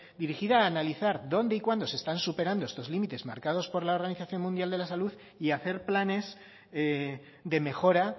dirigida a analizar dónde y cuándo se están superando estos límites marcados por la organización mundial de la salud y hacer planes de mejora